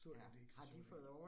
Så er det ikke så sørgeligt